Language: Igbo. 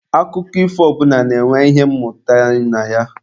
Akụkọ ifo ọbụla na-enwe ihe mmụta na ya.